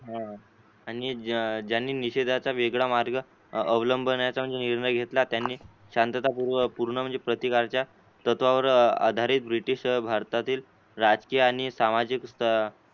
आणि ज्यांनी निषेदाचा वेगळा मार्ग अवलंबण्याचा निर्णय घेतला म्हणजे त्यांनी शांतता पूर्व म्हणजे पूर्ण प्रतिकारच्या तत्वावर आधारित ब्रिटिश भारतातील राजकीय आणि सामाजिक स्थ